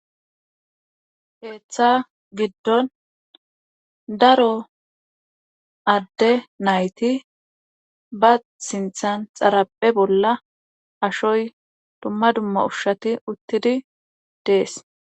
Heeththa giddon daro adde nayti ba sinthan xaraphe bolla ashoy dumma dumma ushshati uttidi dees.